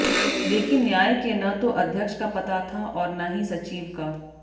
लेकिन न्याय के न तो अध्यक्ष का पता था और न ही सचिव का